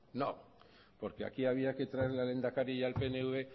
no porque aquí había que traer al lehendakari y al pnv